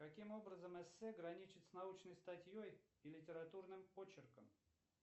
каким образом эссе граничит с научной статьей и литературным почерком